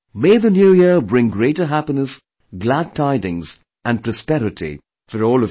May the New Year bring greater happiness, glad tidings and prosperity for all of you